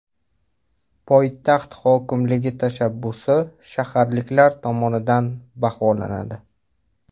Poytaxt hokimligi tashabbusi shaharliklar tomonidan baholanadi.